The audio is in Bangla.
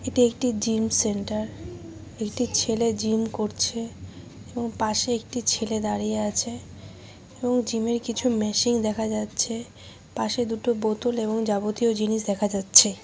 এটি একটি জিম সেন্টার । একটি ছেলে জিম করছে এবং পাশে একটি ছেলে দাঁড়িয়ে আছে । এবং জিম -এর কিছু মেশিন দেখা যাচ্ছে । পাশে দুটো বোতল এবং যাবতীয় জিনিস দেখা যাচ্ছে।